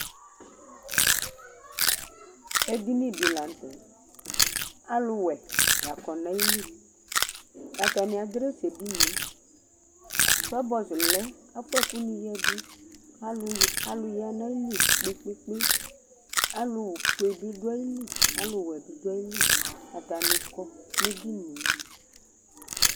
Ɛɖìní ɖi la ŋtɛ Aluwɛ la kɔ ŋu ayìlí Ataŋi adrɛs Tɔbɔzʋ lɛ afʋa ɛku ŋi ɖʋ Alu ɖu ayìlí kpe kpe Alu fʋe bi ɖu ayìlí alʋ wɛ bi ɖu ayìlí Ataŋi kɔ ŋu edinie